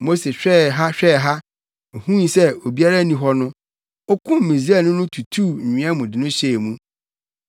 Mose hwɛɛ ha hwɛɛ ha huu sɛ obiara nni hɔ no, okum Misraimni no tutuu nwea mu de no hyɛɛ hɔ.